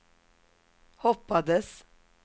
hoppades